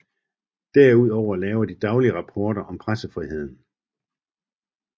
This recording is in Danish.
Derudover laver de daglige rapporter om pressefriheden